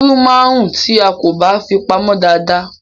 Irú máa ń rún tí a kò bá fi pamô dada.